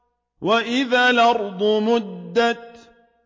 وَإِذَا الْأَرْضُ مُدَّتْ